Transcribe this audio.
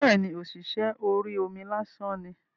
Bẹ́ẹ̀ni, ọ̀ṣìṣẹ́ orí omi lásán ni